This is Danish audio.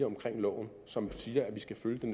loven som siger at vi skal følge det